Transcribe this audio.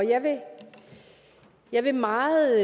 jeg vil meget